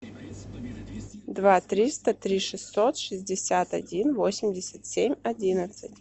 два триста три шестьсот шестьдесят один восемьдесят семь одиннадцать